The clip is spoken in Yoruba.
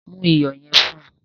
Mu iyọ̀ yẹn fún.